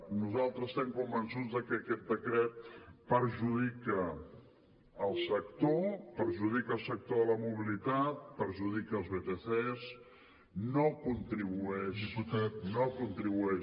nosaltres estem convençuts de que aquest decret perjudica el sector perjudica el sector de la mobilitat perjudica els vtcs no contribueix